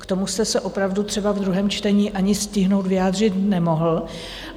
K tomu jste se opravdu třeba v druhém čtení ani stihnout vyjádřit nemohl.